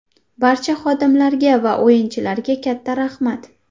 Barcha xodimlarga va o‘yinchilarga katta rahmat.